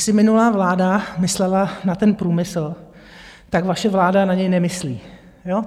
Jestli minulá vláda myslela na ten průmysl, tak vaše vláda na něj nemyslí.